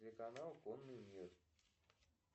телеканал конный мир